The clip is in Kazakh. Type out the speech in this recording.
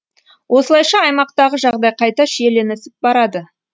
осылайша аймақтағы жағдай қайта шиеленісіп барады